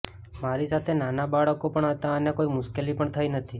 મારી સાથે નાના બાળકો પણ હતા અને કોઈ મુશ્કેલી પણ થઈ નથી